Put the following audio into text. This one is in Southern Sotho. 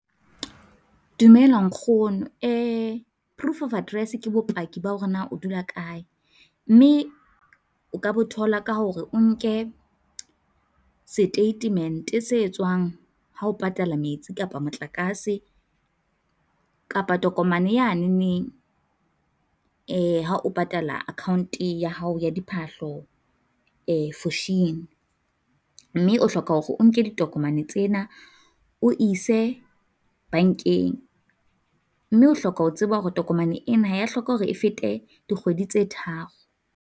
Dumela nkgono proof of address ke bopaki ba hore na o dula kae, mme o ka bo thola ka hore o nke seteitemente se tswang ha o patala metsi, kapa motlakase, kapa tokomane yanene ha o patala account-e ya hao ya diphahlo Foschini. Mme o hloka hore o nke ditokomane tsena o ise bankeng, mme o hloka ho tseba hore tokomane ena ya hloka hore e fete dikgwedi tse tharo.